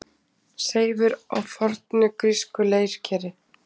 Seifur á fornu grísku leirkeri.